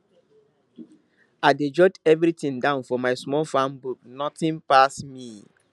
i dey jot everything down for my small farm book nothing pass me